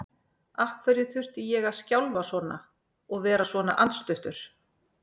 Af hverju þurfti ég að skjálfa svona og vera svona andstuttur?